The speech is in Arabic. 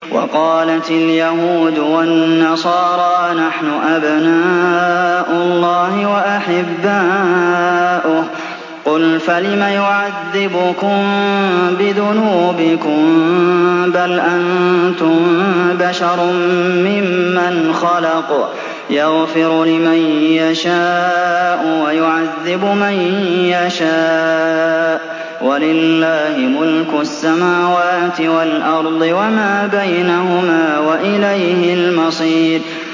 وَقَالَتِ الْيَهُودُ وَالنَّصَارَىٰ نَحْنُ أَبْنَاءُ اللَّهِ وَأَحِبَّاؤُهُ ۚ قُلْ فَلِمَ يُعَذِّبُكُم بِذُنُوبِكُم ۖ بَلْ أَنتُم بَشَرٌ مِّمَّنْ خَلَقَ ۚ يَغْفِرُ لِمَن يَشَاءُ وَيُعَذِّبُ مَن يَشَاءُ ۚ وَلِلَّهِ مُلْكُ السَّمَاوَاتِ وَالْأَرْضِ وَمَا بَيْنَهُمَا ۖ وَإِلَيْهِ الْمَصِيرُ